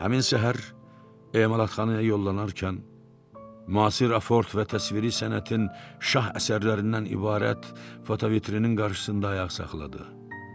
Həmin səhər emalatxanaya yollanarkən müasir aford və təsviri sənətin şah əsərlərindən ibarət fotovitinin qarşısında ayaq saxladı.